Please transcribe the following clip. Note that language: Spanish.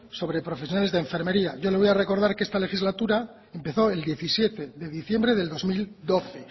sobre profesionales de enfermería yo le voy a recordar que esta legislatura empezó el diecisiete de diciembre del dos mil doce